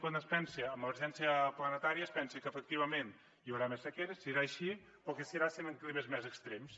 quan es pensa en l’emergència planetària es pensa que efectivament hi haurà més sequera serà així però que serà en climes més extrems